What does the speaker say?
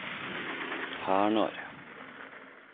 Hernar